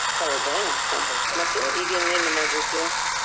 ಹೌದಾ ಹಾ ಮತ್ತೆ ಈಗ ಇನ್ನೇನ್ ಮಾಡ್ಬೇಕು?